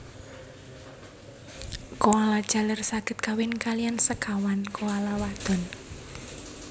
Koala jaler saged kawin kaliyan sekawan koala wadon